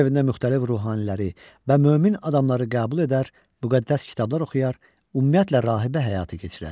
Öz evində müxtəlif ruhaniləri və mömin adamları qəbul edər, müqəddəs kitablar oxuyar, ümumiyyətlə rahibə həyatı keçirərdi.